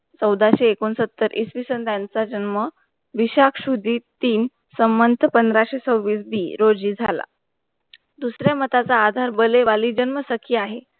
चौदासे-एकूण सत्तर ईश विषय यांचं झनम विषाक्षु दीप तीन संमंत पंधरा से छबीस दिन रोझी जाला. दुसऱ्या मठाचा आधार वले वाली जन्म सखी आहे.